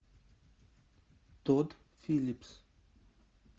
тодд филлипс